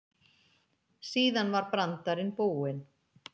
Síðan var brandarinn búinn.